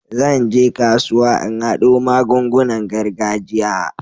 Zan je kasuwa in haɗo magungunan gargajiya.